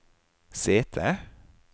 sete